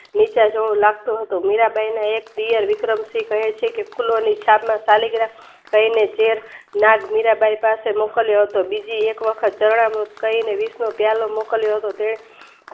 નિશાળ જેવી લાગતું હતું મીરાંબાઈના એક દિયર વિક્રમ સિંહ કાયે છેકે ખુલોની શાક કાઇને છેક મીરાંબાઈ પાસે મોકલ્યો હતો બીજી એક વખત તણા કહીને વિષનો પ્યાલો મોકલ્યો હતો. તે